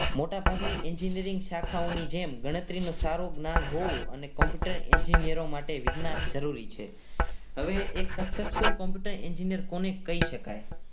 મોટાભાગની engineering શાખાઓની જેમ ગણતરીનું સારું જ્ઞાન બહુ અને Computer Engineer ઓ માટે વિજ્ઞાન જરૂરી છે હવે એક successful Computer Engineering College કરી શકાય.